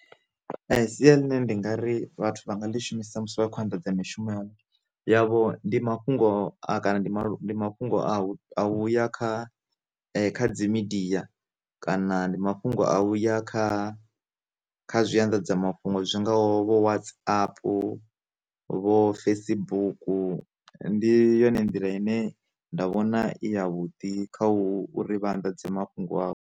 Sia ḽine ndi nga ri vhathu vha nga ḽi shumisa musi vha khou anḓadza mishumo ya hone yavho, ndi mafhungo a kana ndi mafhungo a u a u ya kha kha dzi midiya, kana ndi mafhungo a uya kha kha zwi anḓadza mafhungo zwingaho vho watsapu, vho Facebooku, ndi yone nḓila ine nda vhona i ya vhuḓi kha u ri vha anḓadze mafhungo avho.